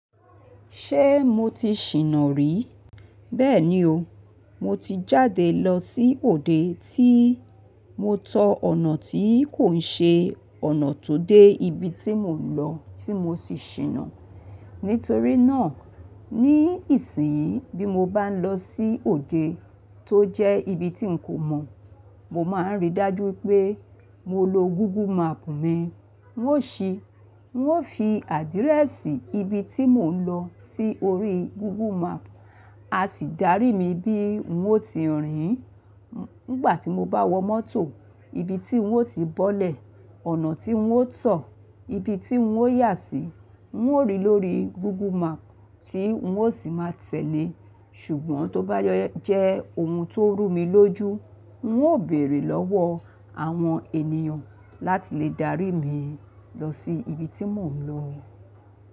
Ṣé mo ti ṣìnà rí? Bẹ́ẹ̀ni o, mo ti jáde lọ sí òde tí mo tọ ọ̀nà tí kò ṣe ọ̀nà tó dé ibi tí mò ń lọ tí mo sì ṣìnà. Nítorí náà ní ìsìnyí bí mo bá ń lọ sí òde tó jẹ́ ibi tí n kò mọ̀, mo máa ń ríi dájú pé mo lo Google Map mi. N óò ṣí, n óò fi àdírẹ́ẹ̀sì ibi tí mò ń lọ sí orí Google Map, a sì dárí mi bí n óò ti rìn nígbà tí mo bá wọ mọ́tò, ibi tí n óò ti bọ́lẹ̀, ọ̀nà tí n óò tọ̀, ibi tí n óò yà sí, n óò rí lórí Google Map tí n óò sì máa tẹ̀lé. Ṣùgbọ́n tó bá jẹ́ ohun tó rú mi lójú, n óò bèrè lọ́wọ́ àwọn ènìyàn láti lè dárí mi lọ sí ibi tí mò ń lọ.